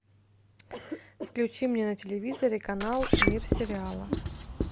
включи мне на телевизоре канал мир сериала